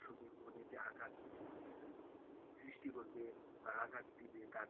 দর্শকের মনে যে আঘাত সৃষ্টি করবে বা আঘাত দিবে দাগ কাটবে,